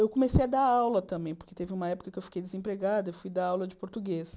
Eu comecei a dar aula também, porque teve uma época que eu fiquei desempregada, eu fui dar aula de português.